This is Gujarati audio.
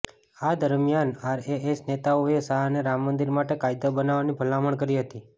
આ દરમિયાન આરએસએસ નેતાઓએ શાહને રામ મંદિર માટે કાયદો બનાવવાની ભલામણ કરી હતી